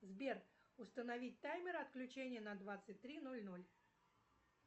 сбер установить таймер отключения на двадцать три ноль ноль